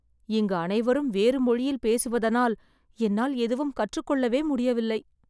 இங்கு அனைவரும் வேறு மொழியில் பேசுவதனால், என்னால் எதுவும் கற்றுக் கொள்ளவே முடியவில்லை